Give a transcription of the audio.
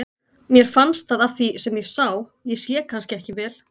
Mér fannst það af því sem ég sá, ég sé kannski ekki vel.